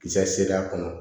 Kisɛ seereya kɔnɔ